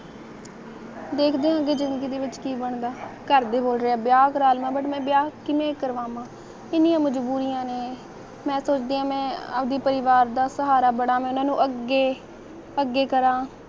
ਦੇਖ ਦਿਆ ਅਗੇ ਜਿੰਦਗੀ ਦੇ ਵਿੱਚ ਕੀ ਬਨਣਾ ਰ ਦੇ ਬੋਲਦੇ ਆ ਵਿਆਹ ਕਰਵਾ ਵਾ ਲਵਾ ਪਰ ਮੈ ਵਿਆਹ ਕਿਵੇਂ ਕਰਾਵਾਂ ਲਵਾ ਕਿੰਨੀਆਂ ਮਜਬੁਰੀਆਂ ਨੇ ਮੈਂ ਸੋਚਦੀ ਆ ਮੈ ਆਪਦੇ ਪਰਿਵਾਰ ਦਾ ਸਹਾਰਾ ਬਣਾ ਮੈ ਓਹਨਾ ਨੂੰ ਅੱਗੇ ਅੱਗੇ ਕਰਾਂ